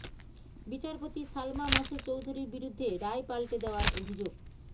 বিচারপতি সালমা মাসুদ চৌধুরীর বিরুদ্ধে রায় পাল্টে দেওয়ার অভিযোগ